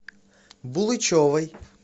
булычевой